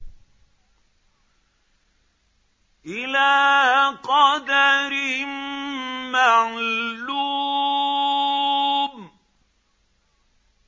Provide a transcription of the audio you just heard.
إِلَىٰ قَدَرٍ مَّعْلُومٍ